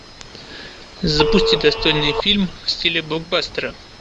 запусти достойный фильм в стиле блокбастера